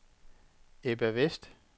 Ebba Westh